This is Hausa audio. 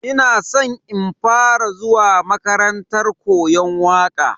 Ina san in fara zuwa makarantar koyon waka.